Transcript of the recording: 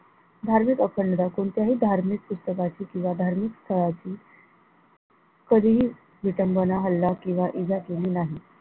धार्मिक अखंडता कोणत्याही धार्मिक पुस्तकाची किंवा धार्मिक पुस्तकाची कधीही विटंबना हल्ला किंवा इजा केली नाही.